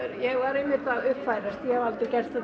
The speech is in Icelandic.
ég var einmitt að uppfærast ég hef aldrei gert þetta